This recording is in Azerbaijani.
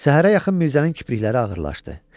Səhərə yaxın Mirzənin kiprikləri ağırlaşdı.